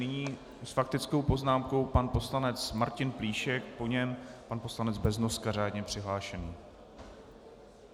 Nyní s faktickou poznámkou pan poslanec Martin Plíšek, po něm pan poslanec Beznoska, řádně přihlášený.